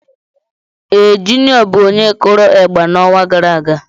Ee, Juniọ bụ onye kụrụ ịgba n'ọnwa gara aga.